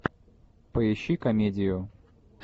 поищи комедию